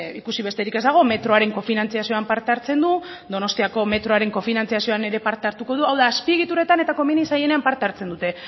ikusi besterik ez dago metroaren kofinantzazioan parte hartzen du donostiako metroaren kofinantzazioaan ere parte hartuko du hau da azpiegituretan eta komeni zaienean parte hartzen dute